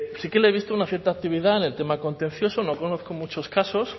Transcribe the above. sí que le he visto una cierta actividad en el tema contencioso no conozco muchos casos